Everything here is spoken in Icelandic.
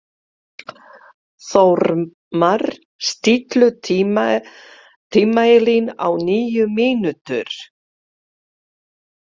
Þórmar, stilltu tímamælinn á níu mínútur.